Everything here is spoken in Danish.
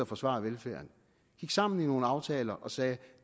forsvare velfærden gik sammen i nogle aftaler og sagde